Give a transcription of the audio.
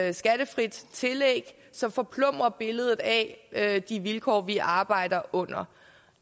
et skattefrit tillæg som forplumrer billedet af de vilkår vi arbejder under